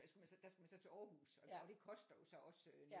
Der skulle man så der skulle man så til Aarhus og det koster jo så også